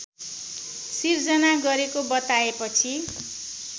सिर्जना गरेको बताएपछि